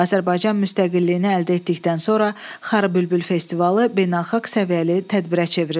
Azərbaycan müstəqilliyini əldə etdikdən sonra Xarı bülbül festivalı beynəlxalq səviyyəli tədbirə çevrildi.